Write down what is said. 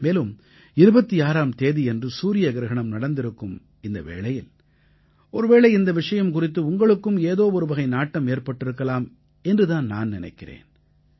மேலும் 26ஆம் தேதியன்று சூரிய கிரஹணம் நடந்திருக்கும் இந்த வேளையில் ஒருவேளை இந்த விஷயம் குறித்து உங்களுக்கும் ஏதோ ஒருவகை நாட்டம் ஏற்பட்டிருக்கலாம் என்று தான் நான் நினைக்கிறேன்